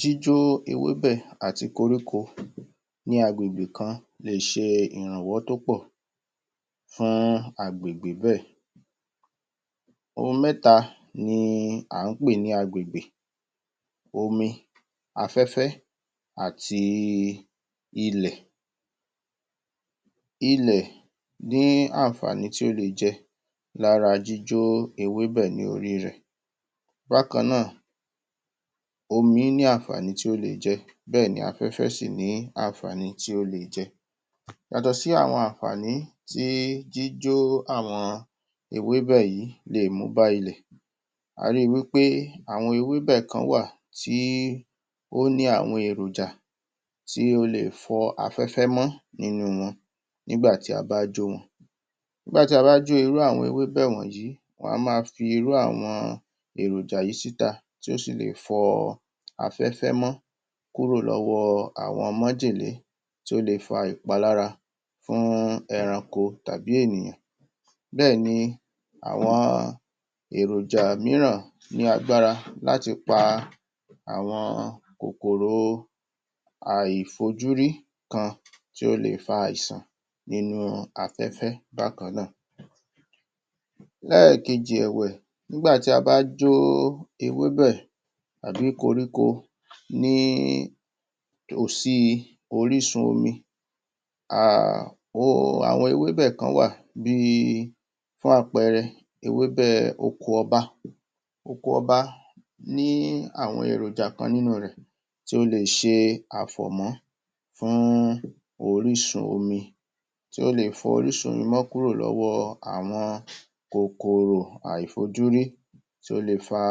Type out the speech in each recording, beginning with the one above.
Jíjó ewébẹ̀ àti koríko ní agbègbè kan lè ṣe ìrànwọ́ tó pọ̀ fún agbègbè bẹ́ẹ̀ ohun méta ni à ń pè ni agbègbè omi, afẹ́fẹ́, àti ilẹ̀ Ilẹ̀ ní ànfààní tí ó le jẹ lára jíjó ewébẹ̀ ni orí rẹ̀ Bákan náà, omi ní ànfààní tí ó le jẹ. Bẹ́ẹ̀ ni afẹ́fẹ́ sì ní ànfààní tí ó le jẹ Yàtọ̀ sí àwọn ànfààní tí jíjó àwọn ewébẹ̀ yìí lè mú bá ilẹ̀ ari wí pé àwọn ewébẹ̀ kán wà tí ó ní àwọn èròjà tí ó le fọ afẹ́fẹ́ mọ́ nínú wọn nígbàtí a bá jo wọn Nígbà tí a bá jo irú àwọn ewébẹ̀ wọnyìí wọ́n á ma fi irú àwọn èròjà yìí síta tí ó si lè fọ afẹ́fẹ́ mọ́ kúrò lọ́wọ́ àwọn májèlé tí ó le fa ìpalára fún ẹranko tàbí ènìyàn bẹ́ẹ̀ ni àwọn èròjà mííràn ní agbára láti pa àwọn kòkòrò àìfojúrí kan tí ó le fa àìsàn nínú afẹ́fẹ́ bákan náà Lẹ́ẹ̀kejì ẹ̀wẹ̀, nígbàtí a bá jó ewébẹ̀, tàbí koríko ní tòsí orísun omi um um àwọn ewébẹ̀ kán wà bí i fún àpẹẹrẹ, ewébẹ̀ oko ọba oko ọba ní àwọn èròjà kan nínú rẹ̀ tí ó lè ṣe àfòmọ́ fún orísun omi tí ó le fọ orísun omi mọ kúrò lọ́wọ́ àwọn kòkòrò àìfojúrí tí ó le fa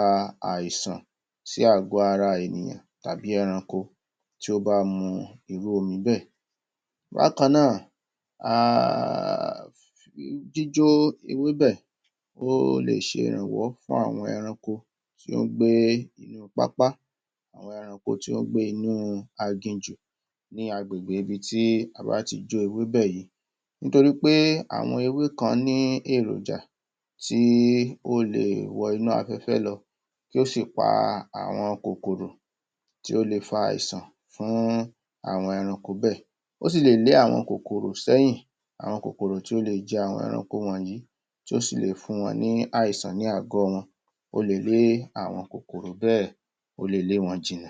àìsàn sí àgọ ara ènìyàn tàbí ẹranko tí ó bá mu irú omi bẹ́ẹ̀ Bákan náà um jíjó ewébẹ̀ ó le ṣe ìrànwọ́ fún àwọn ẹranko tí ó ń gbé inú pápá àwọn ẹranko tí ó ń gbé inú agìnjù ní agbègbè ibi tí a bá ti jó ewébẹ̀ yìí nítorípé àwọn ewé kan ní èròjà tí ó le wọ inú afẹ́fẹ́ lọ tó sì pa àwọn kòkòrò tí ó lè fa àìsàn fún irú àwọn ẹranko bẹ́ẹ̀ ó sì lè lé àwọn kòkòrò sẹ́yìn àwọn kòkòrò tí ó lè jẹ àwọn ẹranko wọnyìí tí ó sì lè fún wọn ní àìsàn ní àgọ́ wọn ó le lé àwọn kòkòrò bẹ́ẹ̀ ó le lé wọn jìnà